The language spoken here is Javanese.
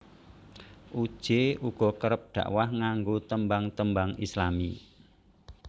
Uje uga kerep dakwah nganggo tembang tembang Islami